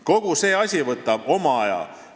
Kogu see asi võtab oma aja.